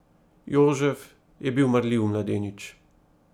Jožef je bil marljiv mladenič.